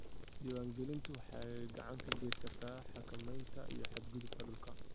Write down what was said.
Diiwaangelintu waxay gacan ka geysataa xakamaynta ku xadgudubka dhulka.